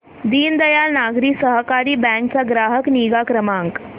दीनदयाल नागरी सहकारी बँक चा ग्राहक निगा क्रमांक